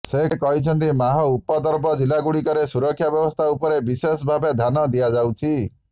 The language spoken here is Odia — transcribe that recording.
ସେ କହିଛନ୍ତି ମାଓ ଉପଦ୍ରୁବ ଜିଲ୍ଲାଗୁଡ଼ିକରେ ସୁରକ୍ଷା ବ୍ୟବସ୍ଥା ଉପରେ ବିଶେଷ ଭାବେ ଧ୍ୟାନ ଦିଆଯାଉଛି